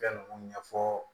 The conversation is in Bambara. Fɛn ninnu ɲɛfɔ